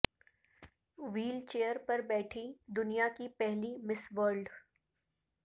wheel chair پر بیٹھی دنیا کی پہلی مس ورلڈ